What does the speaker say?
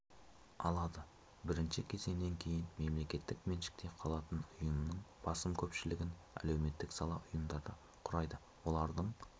алады бірінші кезеңнен кейін мемлекеттік меншікте қалатын ұйымның басым көпшілігін әлеуметтік сала ұйымдары құрайды олардың